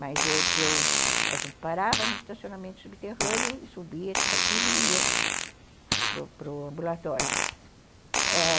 Mas eu eu a gente parava no estacionamento subterrâneo e subia, tudo aquilo ia para para o ambulatório.